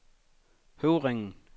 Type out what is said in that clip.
Høvringen